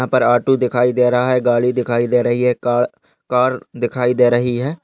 यहा पर ऑटो दिखाई दे रहा है। गाड़ी दिखाई दे रही है। कार कार दिखाई दे रही है।